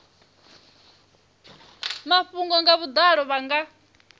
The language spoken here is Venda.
mafhungo nga vhudalo vha nga